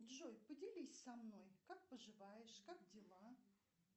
джой поделись со мной как поживаешь как дела